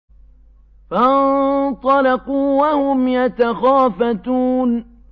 فَانطَلَقُوا وَهُمْ يَتَخَافَتُونَ